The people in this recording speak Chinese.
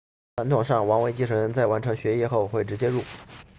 传统上王位继承人在完成学业后会直接入伍